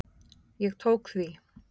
Ég tók því.